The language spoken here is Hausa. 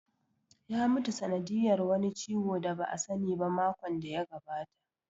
Ya mutu sanadiyar wani ciwo da ba a sani ba makon da ya gabata